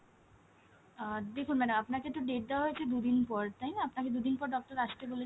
আহ দেখুন madam আপনাকে তো date দেওয়া হয়েছে দুদিন পর তাইনা আপনাকে দুদিন পর doctor আসতে বলেছেন,